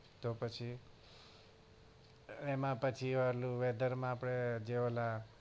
તો પછી એમાં પછી ઓલું weather માં આપડે જે ઓલા